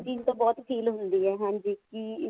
ਚੀਜ਼ ਤਾਂ ਬਹੁਤ feel ਹੁੰਦੀ ਹੈ ਹਾਂਜੀ ਕੀ